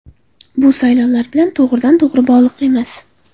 Bu saylovlar bilan to‘g‘ridan-to‘g‘ri bog‘liq emas.